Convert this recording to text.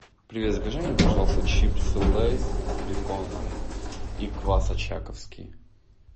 привет закажи мне пожалуйста чипсы лейс с беконом и квас очаковский